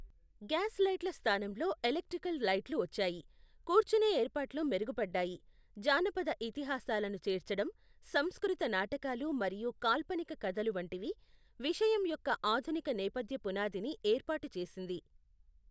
Gas లైట్ల స్థానంలో electrical లైట్లు వచ్చాయి, కూర్చునే ఏర్పాట్లు మెరుగుపడ్డాయి, జానపద ఇతిహాసాలను చేర్చడం, సంస్కృత నాటకాలు మరియు కాల్పనిక కథలు వంటివి, విషయం యొక్క ఆధునిక నేపథ్య పునాదిని ఏర్పాటు చేసింది.